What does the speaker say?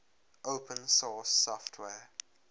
open source software